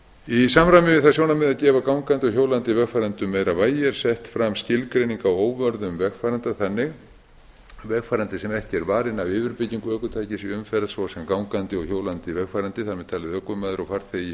í samræmi við það sjónarmið að gefa gangandi og hjólandi vegfarendum meira vægi er sett fram skilgreining á óvörðum vegfaranda vegfarandi sem ekki er varinn af yfirbyggingu ökutækis í umferð svo sem gangandi og hjólandi vegfarandi þar með talin ökumaður og farþegi